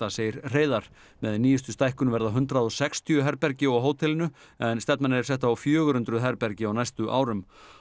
segir Hreiðar með nýjustu stækkun verða hundrað og sextíu herbergi á hótelinu en stefnan er sett á fjögur hundruð herbergi á næstu árum